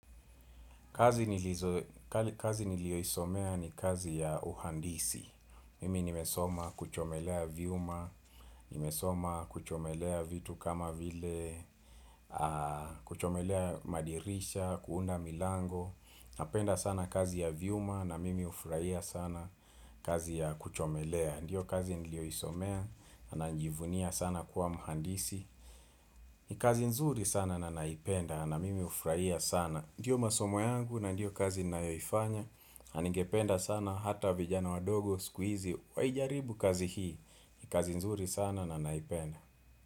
Kazi nilio isomea ni kazi ya uhandisi, mimi nimesoma kuchomelea vyuma, nimesoma kuchomelea vitu kama vile, kuchomelea madirisha, kuunda milango, napenda sana kazi ya vyuma na mimi hufurahia sana kazi ya kuchomelea. Ndiyo kazi nilio isomea, najivunia sana kuwa muhandisi. Ni kazi nzuri sana na naipenda, na mimi hufurahia sana. Ndiyo masomo yangu, na ndiyo kazi ninayoifanya. Nigependa sana, hata vijana wadogo, siku hizi waijaribu kazi hii. Ni kazi nzuri sana na naipenda.